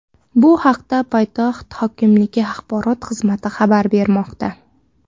Bu haqda poytaxt hokimligi axborot xizmati xabar bermoqda.